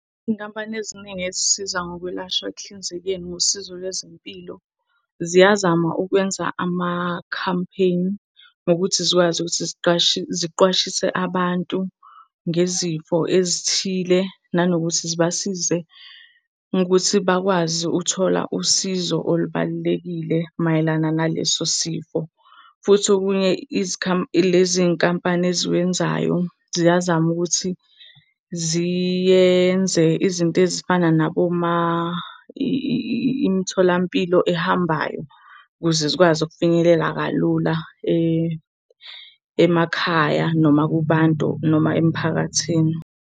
Iy'nkampani eziningi ezisiza ngokwelashwa ekuhlinzekeni ngosizo lwezempilo ziyazama ukwenza amakhampeyini, nokuthi zikwazi ukuthi ziqwashise abantu ngezifo ezithile nanokuthi zibasize ukuthi bakwazi ukuthola usizo olubalulekile mayelana naleso sifo. Futhi okunye lezi iy'nkampani eziwenzayo, ziyazama ukuthi ziyenze izinto ezifana imitholampilo ehambayo ukuze zikwazi ukufinyelela kalula emakhaya, noma kubantu noma emphakathini.